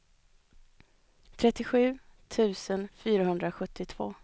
trettiosju tusen fyrahundrasjuttiotvå